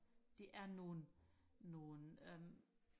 det er nogle nogle øhm